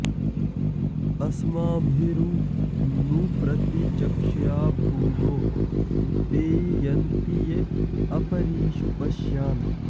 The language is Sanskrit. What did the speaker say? अ॒स्माभि॑रू॒ नु प्र॑ति॒चक्ष्या॑भू॒दो ते य॑न्ति॒ ये अ॑प॒रीषु॒ पश्या॑न्